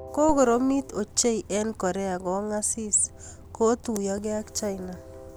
ko koromit ochei eng Korea kongasis ko tuyokei ak China